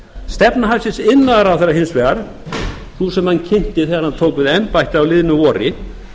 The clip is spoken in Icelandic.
stefna hæstvirtur iðnaðarráðherra hins vegar sú sem hann kynnti þegar hann tók við embætti á liðnu vori